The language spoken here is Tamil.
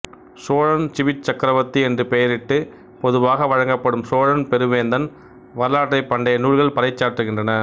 சோழன் சிபிச் சக்கரவர்த்தி என்று பெயரிட்டு பொதுவாக வழங்கப்படும் சோழன் பெரு வேந்தன் வரலாற்றைப் பண்டைய நூல்கள் பறைசாற்றுகின்றன